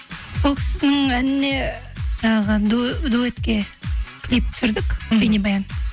сол кісінің әніне жаңағы дуэтке клип түсірдік мхм бейнебаян